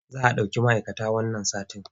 Za a ɗauki ma'aikata wannan satin.